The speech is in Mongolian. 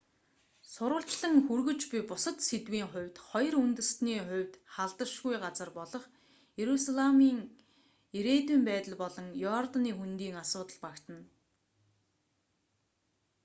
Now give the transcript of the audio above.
сурвалжлан хүргэж буй бусад сэдвийн хувьд хоёр үндэстний хувьд халдашгүй газар болох иерусалимын ирээдүйн байдал болон иорданы хөндийн асуудал багтана